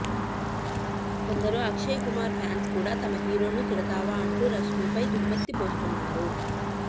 కొందరు అక్షయ్ కుమార్ ఫ్యాన్స్ కూడా తమ హీరోను తిడతావా అంటూ రష్మీపై దుమ్మెత్తిపోస్తున్నారు